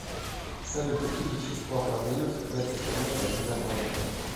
салют какие вещества продают в этой стране под видом лсд